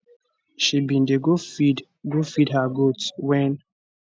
she bin dey go feed go feed her goat wen